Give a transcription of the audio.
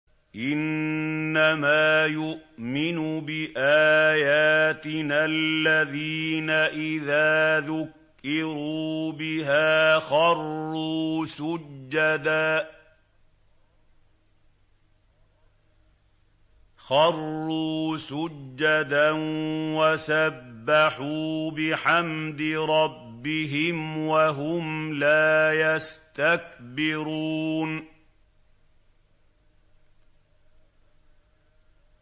إِنَّمَا يُؤْمِنُ بِآيَاتِنَا الَّذِينَ إِذَا ذُكِّرُوا بِهَا خَرُّوا سُجَّدًا وَسَبَّحُوا بِحَمْدِ رَبِّهِمْ وَهُمْ لَا يَسْتَكْبِرُونَ ۩